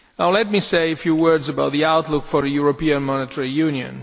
Let me say a few words about the outlook for European Monetary Union.